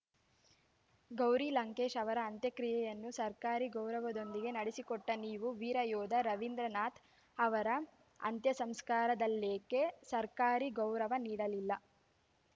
ಗೌರಿ ಲಂಕೇಶ್‌ ಅವರ ಅಂತ್ಯಕ್ರಿಯೆಯನ್ನು ಸರ್ಕಾರಿ ಗೌರವದೊಂದಿಗೆ ನಡೆಸಿಕೊಟ್ಟನೀವು ವೀರಯೋಧ ರವೀಂದ್ರನಾಥ್‌ ಅವರ ಅಂತ್ಯಸಂಸ್ಕಾರದಲ್ಲೇಕೆ ಸರ್ಕಾರಿ ಗೌರವ ನೀಡಲಿಲ್ಲ